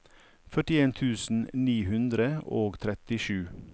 førtien tusen ni hundre og trettisju